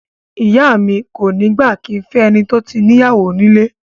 Ìyá mi kò ní gbà kí n fẹ́ ẹni tó tí níyàwó nílé